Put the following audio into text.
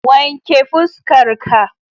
Wanke fuskar ka